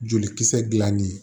Jolikisɛ dilannen